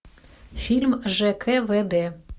фильм жквд